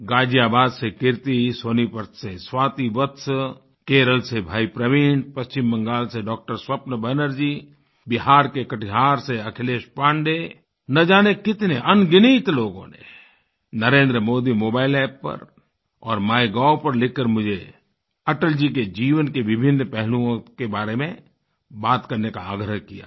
गाज़ियाबाद से कीर्ति सोनीपत से स्वाति वत्स केरल से भाई प्रवीण पश्चिम बंगाल से डॉक्टर स्वप्न बैनर्जी बिहार के कटिहार से अखिलेश पाण्डे न जाने कितने अनगिनत लोगों ने नरेंद्र मोदी मोबाइल App पर और माइगोव पर लिखकर मुझे अटल जी के जीवन के विभिन्न पहलुओं के बारे में बात करने का आग्रह किया है